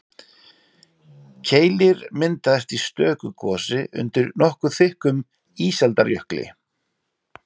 Keilir myndaðist í stöku gosi undir nokkuð þykkum ísaldarjökli.